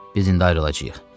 Biz indi ayrılacağıq.